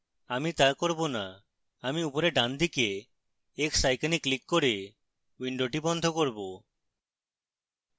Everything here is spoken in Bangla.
আমি তা করব না আমি উপরে ডানদিকে x icon ক্লিক করে window বন্ধ করব